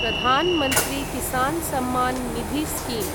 Pradhan Mantri Kisan Samman Nidhi scheme